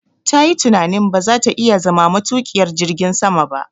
Tayi tunanin ba za ta iya zama matuƙiyar jirgin sama ba